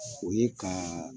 O ye ka